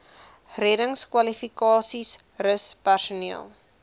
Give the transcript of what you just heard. reddingskwalifikasies rus personeel